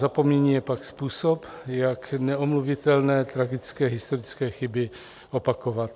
Zapomnění je pak způsob, jak neomluvitelné, tragické historické chyby opakovat.